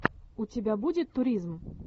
у тебя будет туризм